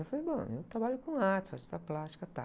Eu falei, bom, eu trabalho com arte, sou artista plástica, tá.